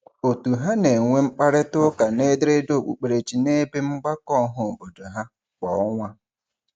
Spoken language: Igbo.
Òtù ha na-enwe mkparịtaụka n'ederede okpukperechi n'ebe mgbakọ ọhaobodo ha kwa ọnwa.